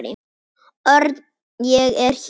Örn, ég er hér